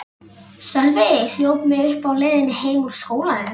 Sölvi hljóp mig uppi á leiðinni heim úr skólanum.